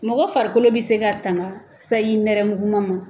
Mɔgɔ farikolo be se ka tanga sayi nɛrɛmuguma ma